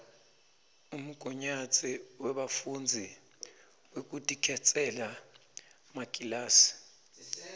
umgunyatsi webafundzi wekutikhetsela makilasi